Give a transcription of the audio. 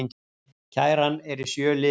Kæran er í sjö liðum